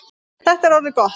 Þetta er orðið gott.